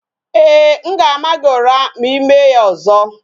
Ee, m ga-ama gị ụra ma I mee ya ọzọ